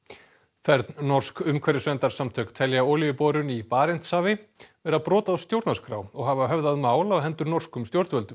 fern norsk umhverfisverndarsamtök telja olíuborun í Barentshafi brot á stjórnarskrá og hafa höfðað mál á hendur norskum stjórnvöldum